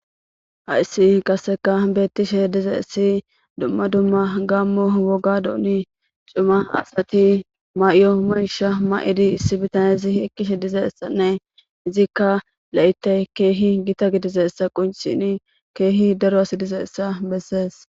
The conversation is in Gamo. Haysi qaseka betishe dizaysi duma duma gamo wogadoni c'ima asati ma'iyo misha ma'idi issi bitanezi eqishe dizaysane izika laytay kehi gita gidizaysa qonc'sishin kehi daro asay dizaysa beses.